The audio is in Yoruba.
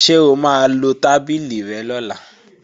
Ṣé o máa lo tábìlì rẹ lọ́la?